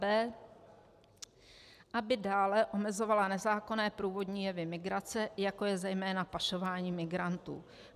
b) aby dále omezovala nezákonné průvodní jevy migrace, jako je zejména pašování migrantů.